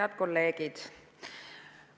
Head kolleegid!